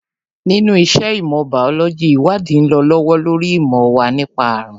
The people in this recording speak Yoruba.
Nínú iṣẹ́ ìmọ̀ bàólójī, ìwádìí ń lọ lọ́wọ́ lórí ìmọ̀ wa nípa àrùn